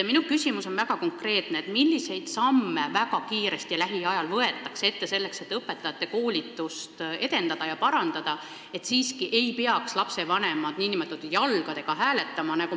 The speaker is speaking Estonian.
Minu küsimus on väga konkreetne: milliseid samme võetakse kohe, lähiajal ette õpetajate koolituse edendamiseks ja parandamiseks, et lapsevanemad ei peaks siiski n-ö jalgadega hääletama?